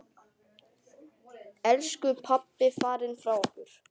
Elsku pabbi farinn frá okkur.